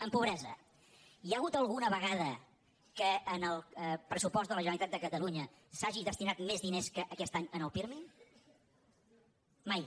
en pobresa hi ha hagut alguna vegada que en el pressupost de la generalitat de catalunya s’hagi destinat més diners que aquest any al pirmi mai